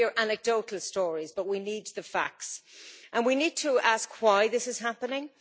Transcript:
We hear anecdotal stories, but we need the facts and we need to ask why this is happening.